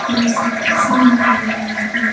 मौसम शाम का लग रहा है।